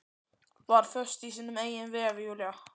Var föst í sínum eigin vef, Júlía.